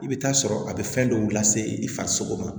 I bɛ taa sɔrɔ a bɛ fɛn dɔw lase i farisogo ma